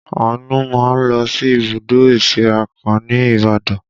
Àánú máa ń lọ sí ibùdó ìsíra kan ní Ibadan